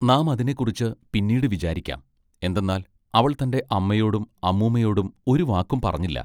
നാം അതിനെക്കുറിച്ച് പിന്നീട് വിചാരിക്കാം എന്തെന്നാൽ അവൾ തന്റെ അമ്മയോടും അമ്മൂമ്മയോടും ഒരു വാക്കും പറഞ്ഞില്ല.